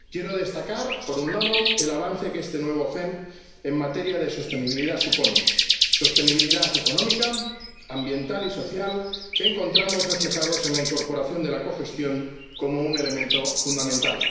Quiero destacar, por un lado, el avance que este nuevo FEMP supone en materia de sostenibilidad sostenibilidad económica, ambiental y social, que encontramos reflejada en la incorporación de la cogestión como un elemento fundamental.